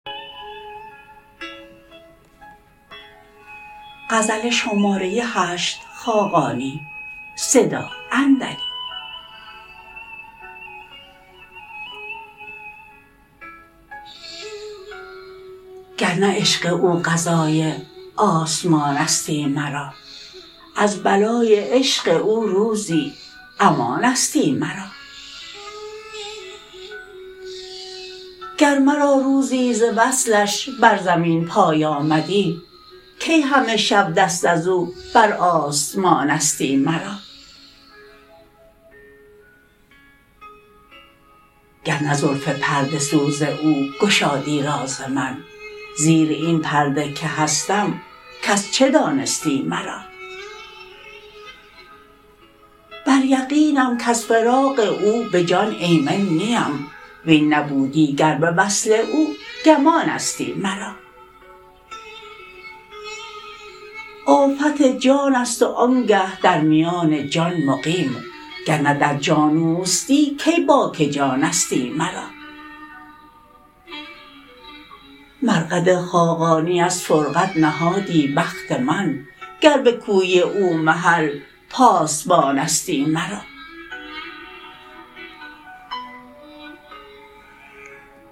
گر نه عشق او قضای آسمانستی مرا از بلای عشق او روزی امانستی مرا گر مرا روزی ز وصلش بر زمین پای آمدی کی همه شب دست از او بر آسمانستی مرا گر نه زلف پرده سوز او گشادی راز من زیر این پرده که هستم کس چه دانستی مرا بر یقینم کز فراق او به جان ایمن نیم وین نبودی گر به وصل او گمانستی مرا آفت جان است و آنگه در میان جان مقیم گر نه در جان اوستی کی باک جانستی مرا مرقد خاقانی از فرقد نهادی بخت من گر به کوی او محل پاسبانستی مرا